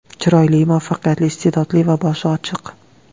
Chiroyli, muvaffaqiyatli, iste’dodli va boshi ochiq.